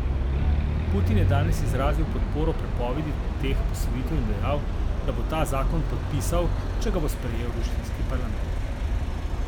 Putin je danes izrazil podporo prepovedi teh posvojitev in dejal, da bo ta zakon podpisal, če ga bo sprejel ruski parlament.